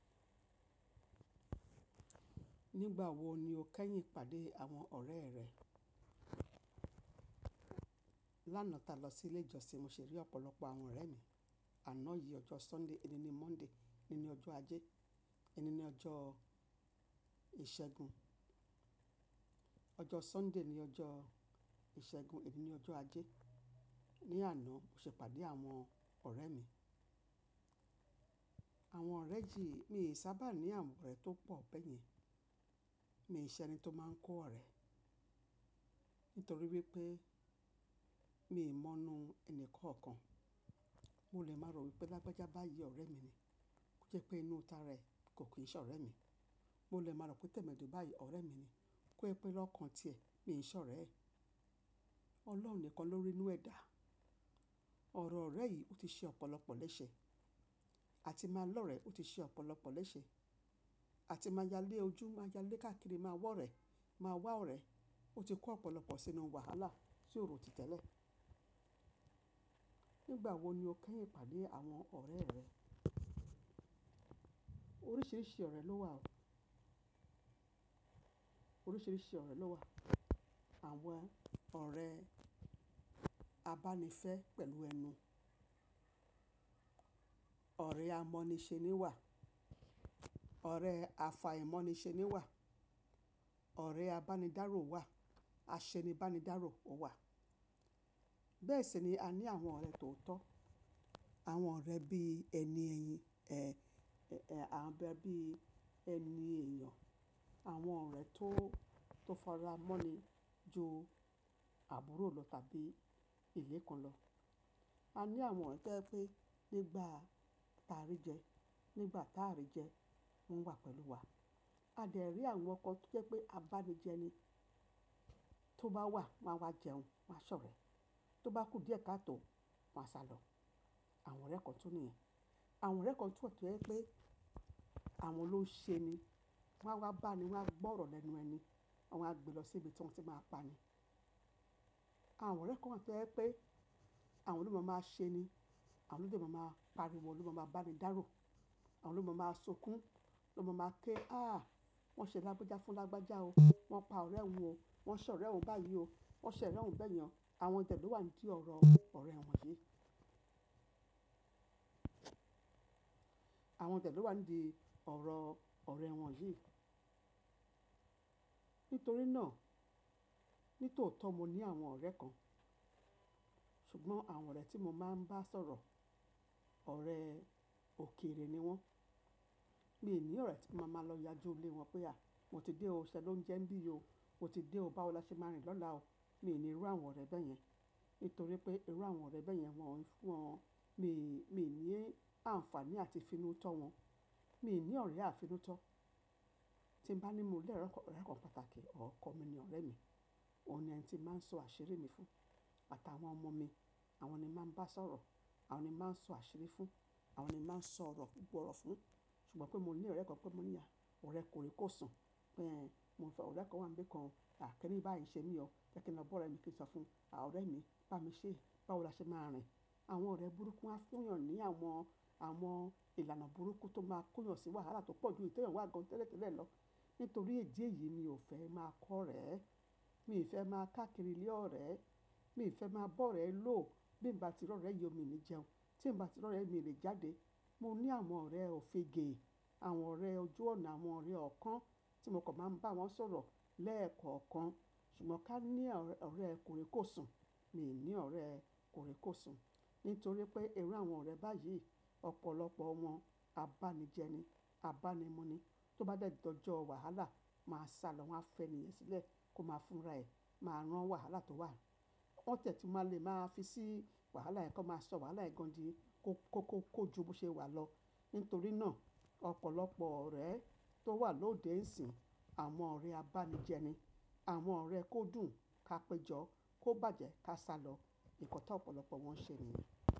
Nígbà wo ni o kẹ́yìn pàdé àwọn ọ̀rẹ́ rẹ? Lánàá ta lọ sí ilé ìjọsìn, mo ṣe rí ọ̀pọ̀lọpọ̀ àwọn ọ̀rẹ́ mi. Àná yìí ọjọ́ Sunday, ení ni Monday, ìní ni ọjọ́ Ajé, ìní ni ọjọ́ Ìṣẹ́gun. Ọjọ́ Sunday ni ọjọ́ Ìṣẹ́gun, ení ni ọjọ́ Ajé. Ni àná mo ṣe pàdé àwọn ọ̀rẹ́ mi. Àwọn ọ̀rẹ́ ji, mi ò sábà ní àwọn ọ̀rẹ́ tó pọ̀ bẹ́yẹn. Mi ò ṣe ẹni tó máa ń kọ́ ọ̀rẹ́, nítorí wípé mi ò mọ̀nu ẹni kankan. Mo lè máa rò wípé lágbájá báyìí ọ̀rẹ́ mi ni, kó jẹ́ pé inú ta rẹ̀ kò kí ń ṣọ̀rẹ́ mi. Mo lè máa rò pé tẹ̀mẹ́dù báyìí ọ̀rẹ́ mi ni, kó pé lọ́kan tiẹ̀ mi ò ń ṣọ̀rẹ́ ẹ̀. Ọlọ́run nìkan ló rí inú ẹ̀dá. Ọ̀rọ̀ ọ̀rẹ́ yìí ó ti ṣe ọ̀pọ̀lọpọ̀ lẹ́sẹ̀. A ti máa lọ̀rẹ́, ó ti ṣe ọ̀pọ̀lọpọ̀ lẹ́sẹ̀. A ti máa yálé ojú, máa yálé káàkiri, máa wọ̀rẹ́, máa wá ọ̀rẹ́. Ó ti kó ọ̀pọ̀lọpọ̀ sínú wàhálà tí ò rò tí tẹ́lẹ̀. Nígbà wo ni o kẹ́yìn pàdé àwọn ọ̀rẹ́ rẹ? Oríṣiríṣi ọ̀rẹ́ ló wà o. Oríṣiríṣi ọ̀rẹ́ ló wà. Àwọn ọ̀rẹ́ abánifẹ́ pẹ̀lú ẹnu. Ọ̀rẹ́ amọ́nisẹ́ni wà. Ọ̀rẹ́ àfàìmọ́nisẹ́ni wà. Ọ̀rẹ́ abánidáro wà. Aṣenibánidáro ó wà. Bẹ́ẹ̀ sì ni a ní àwọn ọ̀rẹ́ tó tọ́. Àwọn ọ̀rẹ́ bí ẹni ẹyìn, àwọn ọ̀rẹ́ bí ẹni èèyàn. Àwọn ọ̀rẹ́ tó, tó fara mọ́ ni ju àbúrò lọ tàbí ìlé kan lọ. A ní àwọn ọ̀rẹ́ to je pé nígbà ta rí jẹ, nígbà táà rí jẹ, wọ́n wà pẹ̀lú wa. A dẹ̀ rí àwọn kan tí jẹ́ pé abánijẹ ni. Tí ó bá wà, wáa wá jẹun, wáa ṣọ̀rẹ́. Tí ó bá kú díẹ̀ káàtò, wáa sálọ. Àwọn ọ̀rẹ́ kan tún nìyẹn. Àwọn ọ̀rẹ́ kan tún wà to je pé àwọn ló ń ṣe ni. Wọ́n á wá bá ni, wọ́n á gbọ́ ọ̀rọ̀ lẹ́nu ẹni, wọ́n á gbé lọ sí ibi tí wọ́n ti máa pa ni. Àwọn ọ̀rẹ́ kan tẹ́ je pé àwọn loo máma ṣe ni. Àwọn lo de máma pariwo, lo máma bá ni dárò. Àwọn lo máma sunkún, lo máma ké. Áà, wọ́n ṣe lágbájá fún lágbájá o. Wọ́n pa ọ̀rẹ́ wun o. Wọ́n ṣọ̀rẹ́ wun báyìí o. Wọ́n ṣorẹ́ wun bẹ́yẹn. Àwọn de lo wà nídìí ọ̀rọ̀ ọ̀rẹ́ wọn yìí. Àwọn tẹ̀tẹ̀ wà nídìí ọ̀rọ̀ ọ̀rẹ́ wọn yìí. Nítorí náà, nítòótọ́ mo ní àwọn ọ̀rẹ́ kan, ṣùgbọ́n àwọn ọ̀rẹ́ tí mo máa ń bá sọ̀rọ̀, ọ̀rẹ́ òkèrè ni wọ́n. Mi ò ní ọ̀rẹ́ tí màá máa lọ yá jù lé wọn pé à, mo ti dé o, ṣé ló ń jẹ bí yi o? Mo ti dé o, báwo la ṣe máa rìn lọ́la o? Mi ò ní irú àwọn ọ̀rẹ́ bẹ́yẹn. Nítorí pé irú àwọn ọ̀rẹ́ bẹ́yẹn wọ́n ń fún wọn, mi, mi ní àǹfààní àti finútọ́ wọn. Mi ò ní ọ̀rẹ́ àfinútọ́. Tí n bá ní mo ní ọ̀rẹ́ kan pàtàkì, ọ̀kọ̀ mi ni ọ̀rẹ́ mi. Ó ni ẹni tí màá ń sọ àṣírí mi fún. Àtàwọn ọmọ mi, àwọn ni màá ń bá sọ̀rọ̀. Àwọn ni màá ń sọ àṣírí fún. Àwọn ni màá ń sọ ọ̀rọ̀ púpọ̀ ọ̀rọ̀ fún. Ṣùgbọ́n pé mo ní ọ̀rẹ́ kan pé mo ní à, ọ̀rẹ́ kòríkòsùn pé e mo ń fẹ́ ọ̀rẹ́ kan wá ń nbi kan kini báyìí ṣé mi o. Jẹ́ kí n lọ bọ́ ọ̀rẹ́ mi kí n sọ fún un, à, ọ̀rẹ́ mi, bá mi ṣé, báwo la ṣe máa rìn? Àwọn ọ̀rẹ́ burúkú á fún ìyàn ní àwọn, àwọn ìlànà burúkú tó máa kóyàn sí wàhálà tó pọ̀jù tí èèyàn wà gan tẹ́lẹ̀tẹ́lẹ̀ lọ. Nítorí èjì yìí mi ò fẹ́ máa kọ́ ọ̀rẹ́. Mi ò fẹ́ máa káàkiri lé ọ̀rẹ́. Mi ò fẹ́ máa bọ́ ọ̀rẹ́ ló. Bí n bá tirọ́ ọ̀rẹ́, ye omi ni jẹun. Tí n bá tirọ́ ọ̀rẹ́, mi lè jáde. Mo ní àwọn ọ̀rẹ́ òfegè, àwọn ọ̀rẹ́ ojú ọ̀nà, àwọn ọ̀rẹ́ ọ̀kan tí mo kò máa ń bá wọn sọ̀rọ̀ lẹ́ẹ̀kọ̀ọ̀kan. Ṣùgbọ́n ká ní ọ̀rẹ́ kòríkòsùn, mi ò ní ọ̀rẹ́ kòríkòsùn. Nítorí pé irú àwọn ọ̀rẹ́ báyìí, ọ̀pọ̀lọpọ̀ wọn abánijẹ ni, abánimu ni. Tí ó bá dẹ̀dẹ̀ ọjọ́, wàhálà wáa sálọ, wọ́n á fẹ́ni ẹ sílẹ̀ kó máa fúnra ẹ̀, máa rán wàhálà tó wà. Wọ́n tẹ̀ tun máa le máa fi sí wàhálà ẹ̀ kan, máa sọ wàhálà ẹ̀ gan di kó, kó, kó, kójú bó ṣe wà lọ. Nítorí náà, ọ̀pọ̀lọpọ̀ ọ̀rẹ́ tó wà lóde nsìn, àwọn ọ̀rẹ́ abánijẹ ni. Àwọn ọ̀rẹ́ kó dùn ká péjọ, kó bàjẹ́ ká sálọ. Ìkọta ọ̀pọ̀lọpọ̀ wọn ṣe ni.